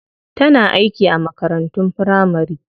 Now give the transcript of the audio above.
Tana aiki a makarantun firamari.